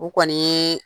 U kɔni ye